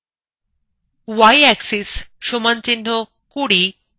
y axis = ২০